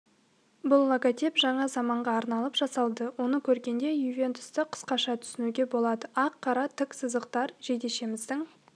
бұл логотип жаңа заманға арналып жасалды оны көргенде ювентусты қысқаша түсінуге болады ақ-қара тік сызықтар жейдешеміздің